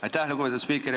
Aitäh, lugupeetud spiiker!